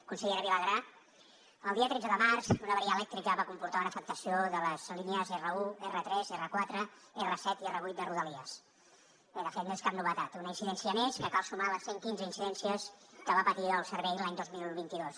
consellera vilagrà el dia tretze de març una avaria elèctrica va comportar una afectació de les línies r1 r3 r4 r7 i r8 de rodalies bé de fet no és cap novetat una incidència més que cal sumar a les cent quinze incidències que va patir el servei l’any dos mil vint dos